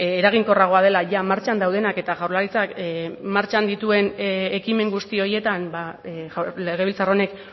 eraginkorragoa dela jada martxan daudenak eta jaurlaritzak martxan dituen ekimen guzti horietan legebiltzar honek